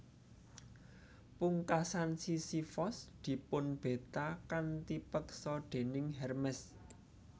Pungkasan Sisifos dipunbeta kanthi peksa déning Hermes